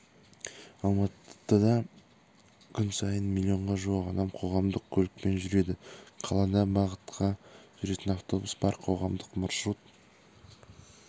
алматыда күн сайын миллионға жуық адам қоғамдық көлікпен жүреді қалада бағытқа жүретін автобус бар қоғамдық маршрут